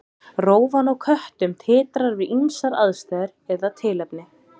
Rófan á köttum titrar við ýmsar aðstæður eða tilefni.